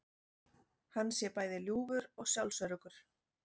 Hann sé bæði ljúfur og sjálfsöruggur